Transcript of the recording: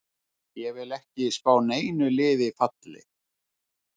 Ég vil ekki spá neinu liði falli.